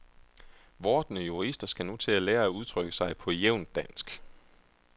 Vordende jurister skal nu til at lære at udtrykke sig på jævnt dansk.